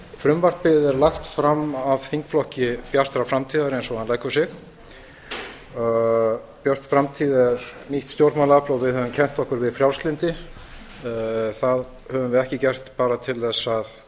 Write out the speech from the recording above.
frumvarpið er lagt fram af þingflokki bjartrar framtíðar eins og hann leggur sig björt framtíð er nýtt stjórnmálaafl og við höfum kennt okkur við frjálslyndi það höfum við ekki gert bara til